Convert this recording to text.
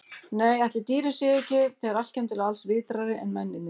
Nei, ætli dýrin séu ekki, þegar allt kemur til alls, vitrari en mennirnir.